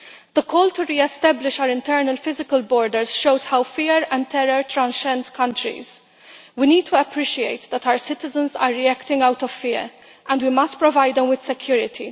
The call to re establish our internal physical borders shows how fear and terror transcends countries. We need to appreciate that our citizens are reacting out of fear, and we must provide them with security.